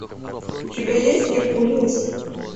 у тебя есть геркулес